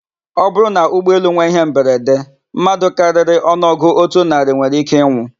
Ọbụrụ na ụgbọelu nwe íhé mberede, mmadụ karịrị ọnụọgụ otu narị nwere íké ịnwụ.